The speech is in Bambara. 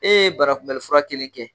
Ee barakunbɛli fura kelen kɛ